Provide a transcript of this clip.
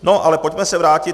No, ale pojďme se vrátit.